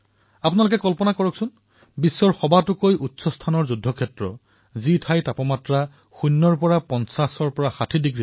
আপোনালোকে কল্পনা কৰক বিশ্বৰ সকলোতকৈ ওখ যুদ্ধক্ষেত্ৰ যত তাপমান শূন্যত কৈ ৫০৬০ ডিগ্ৰী তলত থাকে